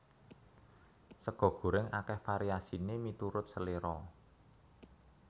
Sega gorèng akèh variasiné miturut seléra